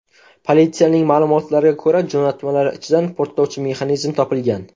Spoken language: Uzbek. Politsiyaning ma’lumotlariga ko‘ra, jo‘natmalar ichidan portlovchi mexanizm topilgan.